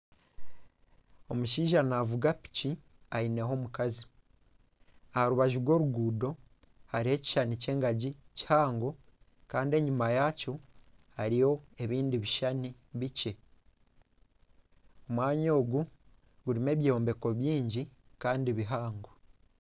Omushaija naavuga piki aineho omukazi, aha rubaju rw'oruguuto hariho ekishushani ky'engagi kihango kandi eyima yaakyo hariyo ebindi bishushani bikye omwanya ogu gurimu ebyombeko bingi kandi bihango